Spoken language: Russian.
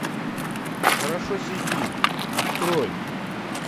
хорошо сидим открой